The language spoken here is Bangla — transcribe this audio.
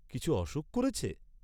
কিছু অসুখ ক’রেছে?